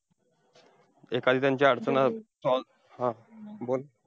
एखादी त्यांची अडचण अं solve हा बोल.